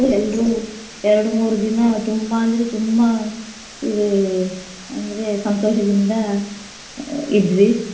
ಎಲ್ರೂ ಎರಡು ಮೂರು ದಿನ ತುಂಬಾ ಅಂದ್ರೆ ತುಂಬಾ ಇದೇ ಅಂದ್ರೆ ಸಂತೋಷದಿಂದ ಇದ್ವಿ.